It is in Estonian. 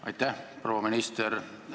Aitäh, proua minister!